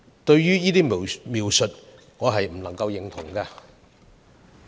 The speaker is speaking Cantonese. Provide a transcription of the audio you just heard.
對於這種種描述，我不能認同。